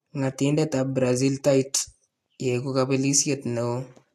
Ng'atindetab Brazil Tite :" yekuu kabelisyeet neon .